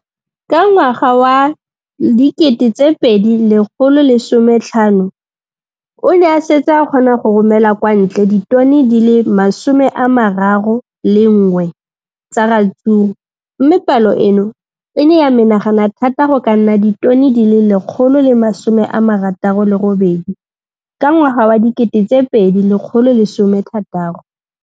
Ka ngwaga wa 2015, o ne a setse a kgona go romela kwa ntle ditone di le 31 tsa ratsuru mme palo eno e ne ya menagana thata go ka nna ditone di le 168 ka ngwaga wa 2016.